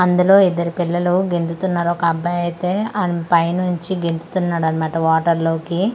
అందులో ఇద్దరు పిల్లలు గెంతుతూన్నరు ఒక అబ్బాయి అయితే ఆన్ పైనుంచి గెంతుతూన్నడు అన్నమాట వాటర్ లోకి.